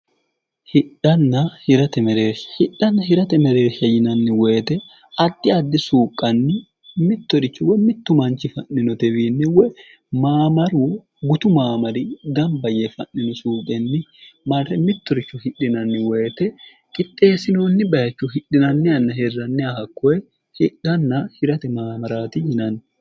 hidhanna hirate mereeshsha yinanni woyite addi addi suuqqanni mittorichu wa mittu manchi fa'ninote wiinne woy maamaru gutu maamari gamba yee fa'nino suuqenni marre mittoricho hidhinanni woyite qixxeessinoonni bayicho hidhinanni anna herranni ahakkoye hidhanna hirate maamaraati yinanni